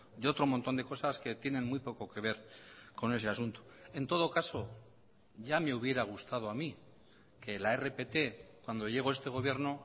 de otro montón de cosas que tienen muy poco que ver con ese asunto en todo caso ya me hubiera gustado a mí que la rpt cuando llegó este gobierno